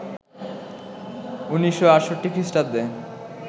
১৯৬৮ খ্রিস্টাব্দে